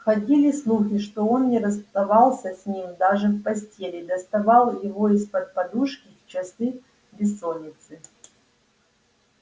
ходили слухи что он не расставался с ним даже в постели и доставал его из-под подушки в часы бессонницы